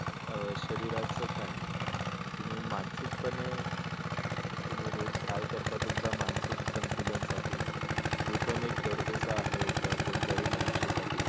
शरीरच काय तुम्ही मानसिक पणे तुम्ही रोज काय करता तुमच मानसिक संतुलन साठी ते पण एक गरजेच आहे का कोणत्याही मानुष्यासाठी.